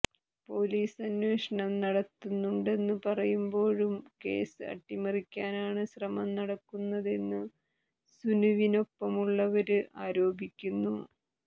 police അന്വേഷണം നടത്തുന്നുണ്ടെന്നു പറയുമ്പോഴും കേസ് അട്ടിമറിക്കാനാണ് ശ്രമം നടക്കുന്നതെന്നു സുനുവിനൊപ്പമുള്ളവര് ആരോപിക്കുന്നു